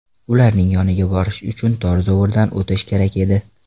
Ularning yoniga borish uchun tor zovurdan o‘tish kerak edi.